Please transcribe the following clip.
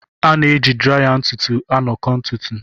A na-eji draya ntutu aṅakọ ntutu.